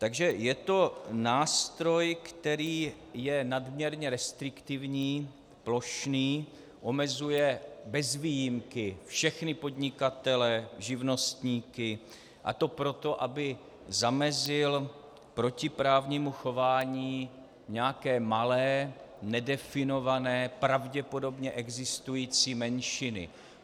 Takže je to nástroj, který je nadměrně restriktivní, plošný, omezuje bez výjimky všechny podnikatele, živnostníky, a to proto, aby zamezil protiprávnímu chování nějaké malé, nedefinované, pravděpodobně existující menšiny.